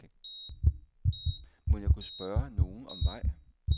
Mon jeg kunne spørge nogen om vej?